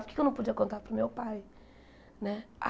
Por que é que eu não podia contar para o meu pai né?